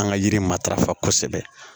An ka yiri matarafa kosɛbɛ